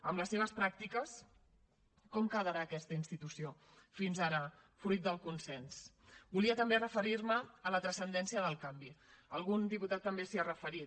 amb les seves pràctiques com quedarà aquesta institució fins ara fruit del consens volia també referir me a la transcendència del canvi algun diputat també s’hi ha referit